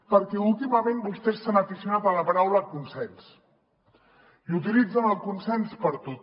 perquè últimament vostès s’han aficionat a la paraula consens i utilitzen el consens per a tot